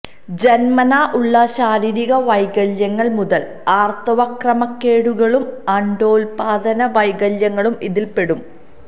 ജന്മനാ ഉള്ള ശാരീരിക വൈകല്യങ്ങൾ മുതൽ ആർത്തവ ക്രമക്കേടുകളും അണ്ഡോല്പാദന വൈകല്യങ്ങളും ഇതിൽപെടും